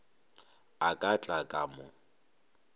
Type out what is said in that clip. a ka tla ka mo